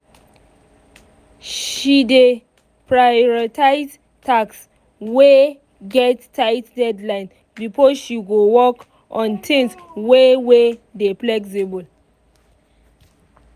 she dey prioritize tasks wey get tight deadlines before she go work on things wey wey dey flexible.